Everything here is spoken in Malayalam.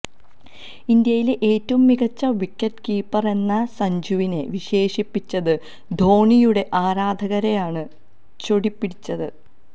ഇന്ത്യയിലെ ഏറ്റവും മികച്ച വിക്കറ്റ് കീപ്പറെന്ന് സഞ്ജുവിനെ വിശേഷിപ്പിച്ചത് ധോണിയുടെ ആരാധകരെയാണ് ചൊടിപ്പിച്ചത്